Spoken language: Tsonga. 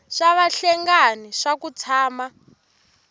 swa vahlengani swa ku tshama